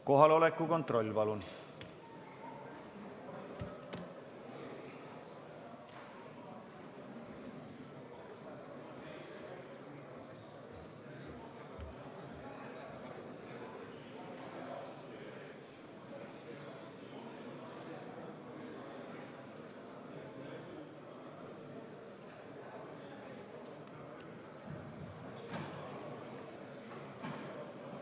Kohaloleku kontroll, palun!